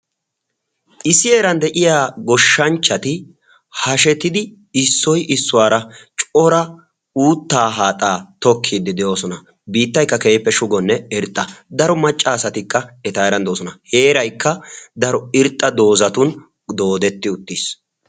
Issi heeran de'iya goshshanchchati hashetidi issoi issuwaara cora uuttaa haaxaa tokkiiddi de'oosona. biittaykka keeppe shugonne irxxa daro maccaasatikka eta eran de'oosona. heeraykka daro irxxa doozatun doodetti uttiis.